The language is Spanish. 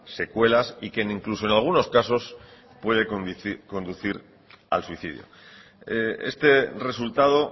secuelas y que incluso en algunos casos puede conducir al suicidio este resultado